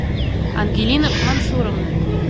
ангелина мансуровна